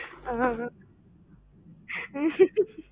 ஆஹ்